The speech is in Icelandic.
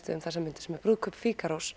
við um þessar mundir brúðkaup